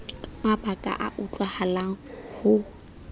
ka mabaka a utlwahalang ho